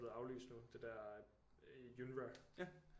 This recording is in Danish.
Er blevet aflyst nu det der UNRWA